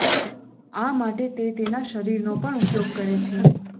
આ માટે તે તેના શરીરનો પણ ઉપયોગ કરે છે